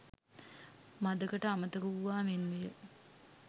මඳකට අමතක වූවා මෙන් විය